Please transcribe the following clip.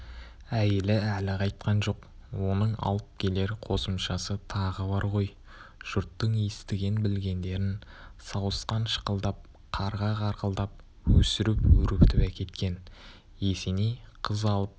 әйелі әлі қайтқан жоқ оның алып келер қосымшасы тағы бар ғой жұрттың естіген-білгендерін сауысқан шықылдап қарға қарқылдап өсіріп-өрбітіп әкеткен есеней қыз алып